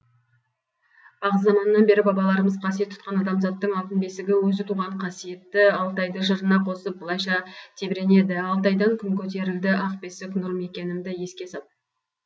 бағзы заманнан бері бабаларымыз қасиет тұтқан адамзаттың алтын бесігі өзі туған қасиетті алтайды жырына қосып былайша тебіренеді алтайдан күн көтерілді ақ бесік нұр мекенімді еске сап